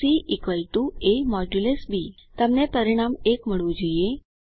C a160 B તમને પરિણામ 1 મળવું જોઈએ